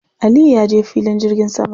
Aliyu ya je filin jirgin sama.